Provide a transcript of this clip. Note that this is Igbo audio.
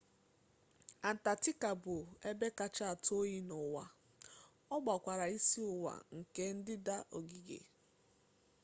antatika bụ ebe kacha atụ oyi n'ụwa ọ gbakwara isi ụwa nke ndịda ogige